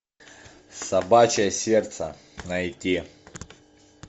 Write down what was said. собачье сердце найти